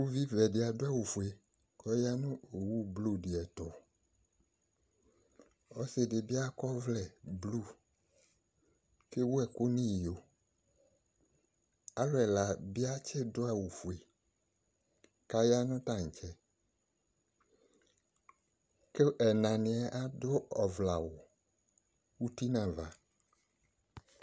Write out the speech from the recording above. Uvivɛ de ado awufue kɔ ya no blu deɛ to Ɔse de be akɔ ɔvlɛ blu ke wu ɛku no iyo Alu ɛla be atse do awufue ka ya no tantsɛ, ko enaneɛ ado ɔvlɛ awu uti no ava